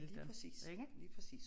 Lige præcis lige præcis